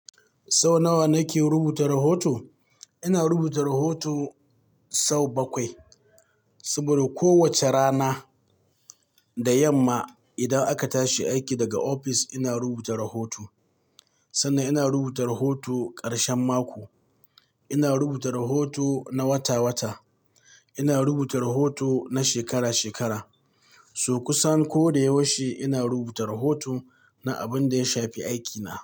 Sau nawa nake rubuta rahoto? Ina rubuta rahoto sau bakwai, saboda kowace rana da yamma idan aka tashi aiki daga ofis ina rubuta rahoto. Sannan ina rubuta rahoto ƙarshen mako, ina rubuta rahoto na wata-wata, ina rubuta rahoto na shekara-shekara. So! Kusan ko da yaushe ina rubuta rahoto na abin da ya shafi aikina.